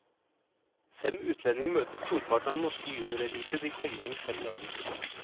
Fem utlendinger møter storparten av den norske juniorelite de kommende fem dager.